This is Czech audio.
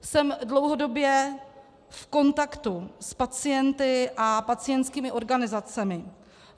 Jsem dlouhodobě v kontaktu s pacienty a pacientskými organizacemi.